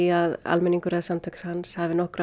að almenningur eða samtök hafi nokkra